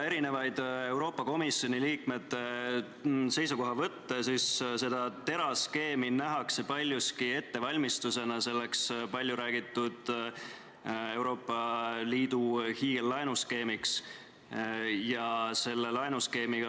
Kui jälgida Euroopa Komisjoni liikmete seisukohavõtte, siis TERA skeemi nähakse paljuski ettevalmistusena selleks palju räägitud Euroopa Liidu hiigellaenuskeemiks.